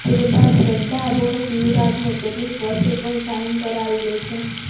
તે બાદ ચડ્ઢા બોસ યુવરાજને કેટલીક વસ્તુ પર સાઇન કરાવી લે છે